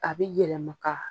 A bɛ yɛlɛma ka